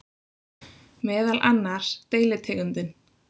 Meðal annars deilitegundin